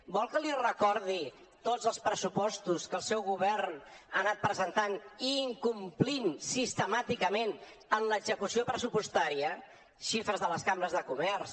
vol que li recordi tots els pressupostos que el seu govern ha anat presentant i incomplint sistemàticament en l’execució pressupostària xifres de les cambres de comerç